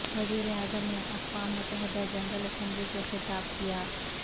وزیراعظم نے اقوام متحدہ جنرل اسمبلی سے خطاب کیا